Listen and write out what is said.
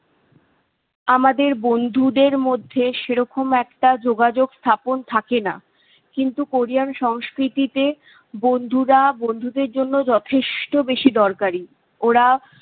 আমাদের বন্ধুদের মধ্যে সেরকম একটা যোগাযোগ স্থাপন থাকে না। কিন্তু কোরিয়ান সংস্কৃতিতে বন্ধুরা বন্ধুদের জন্য যথেষ্ট বেশি দরকারি। ওরা-